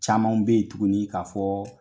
Camanw bɛ yen tuguni ka'fɔ